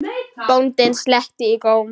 Bóndinn sletti í góm.